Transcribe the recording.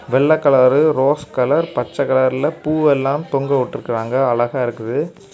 வெள்ளை colour rose colour பச்சை கலர்ல பூவெல்லாம் தொங்க விட்டுருக்காங்க. அழகா இருக்குது.